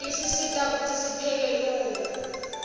tisisita kutsi sipheke lula